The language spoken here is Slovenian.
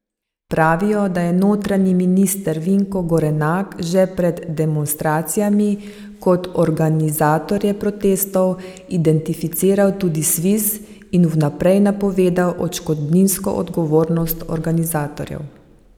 Pravijo, da je notranji minister Vinko Gorenak že pred demonstracijami kot organizatorje protestov identificiral tudi Sviz in vnaprej napovedal odškodninsko odgovornost organizatorjev.